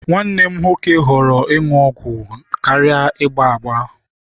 Nwanne m nwoke họrọ ịṅụ ọgwụ aṅụ karịa ịgba ya agba.